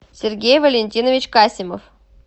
сергей валентинович касимов